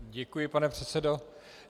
Děkuji, pane předsedo.